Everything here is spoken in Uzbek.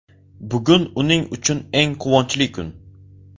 Bugun uning uchun eng quvonchli kun.